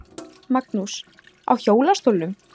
Magnús: Á hjólastólnum?